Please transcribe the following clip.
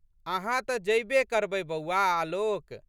अहाँ त जयबे करबै बौआ आलोक!